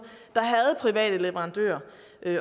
der havde private leverandører